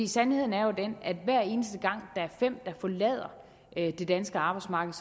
sandheden er jo den at hver eneste gang der er fem der forlader det danske arbejdsmarked